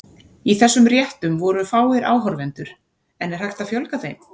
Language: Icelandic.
Í þessum réttum voru fáir áhorfendur, en er hægt að fjölga þeim?